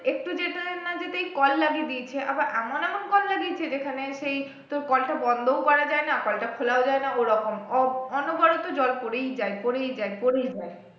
একটু যেতে না যেতেই কল লাগিয়ে দিয়েছে আবার এমন এমন কল লাগিয়েছে যেখানে সেই তোর কলটা বন্ধও করা যাই না কলটা খোলাও যাই না ওরকম অনবরত জল পরেই যাই পরেই যাই পরেই যাই